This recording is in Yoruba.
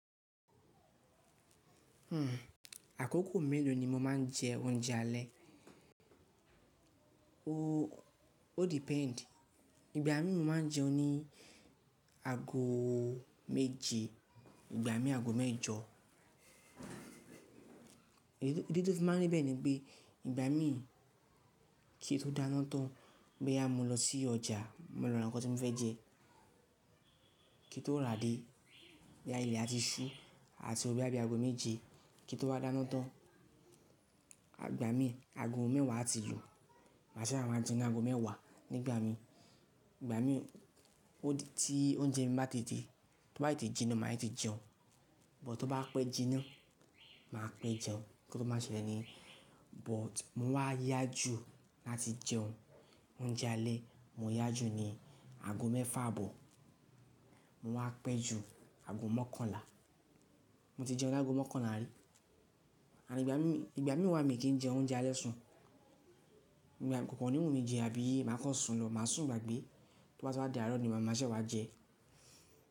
Àkókò mélòó ni mo máa ń jẹ oúnjẹ alẹ́? O depend. Ìgbà mí mo máa ń jẹun ní ago méje, ìgbà mí ago mẹ́jọ. Idi tó fi máa ń ri bẹ́ẹ̀ ni pé, ìgbà mí kí i tó dáná tán boyá mo lọ sí ọjà, mo lọ ra nǹkan tí mo fẹ́ jẹ. Kí tó rà dé, boya ilé a ti ṣú àti wo, boya bí ago méje. Kí n to wa dáná tán, ìgbà mí ago mẹ́wàá a ti lu. Mà se wa máa jẹun ní ago mẹ́wàá, nígbà mí. Ìgbà mi odi tí oúnjẹ mi bá ti di, tó bá tete jinná, màá tete jẹun. But tó bá pẹ́ jinná, màá pẹ́ jẹun nkan tó máa n ṣẹlẹ̀ niyen. But mó wá yá jù láti jẹun oúnjẹ alẹ́, mo yá jù ní ago mẹ́fà àbọ̀. Mo wá pẹ́ jù ago mọ́kànlá. Mo ti jẹun ní ago mọ́kànlá rí. And ìgbà mí wá mi kì í jẹ oúnjẹ alẹ́ sùn. Kokan ni wù mí jẹ, àbí màá kán sùn lọ, màá sùn gbàgbé. Tó bá ti wá dá àárọ̀ ni ma màá ṣè wá jẹ.